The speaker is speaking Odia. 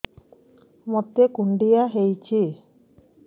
ମୋତେ କୁଣ୍ଡିଆ ହେଇଚି